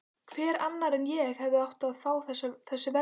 Hver annar en ég hefði átt að fá þessi verðlaun?